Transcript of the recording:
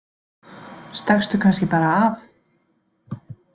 Stakkstu kannski bara af?